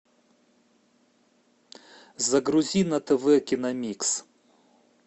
загрузи на тв киномикс